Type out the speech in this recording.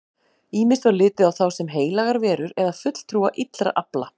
Ýmist var litið á þá sem heilagar verur eða fulltrúa illra afla.